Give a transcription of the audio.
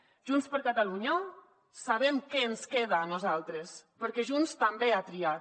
a junts per catalunya sabem què ens queda a nosaltres perquè junts també ha triat